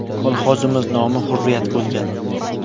Kolxozimiz nomi Hurriyat bo‘lgan.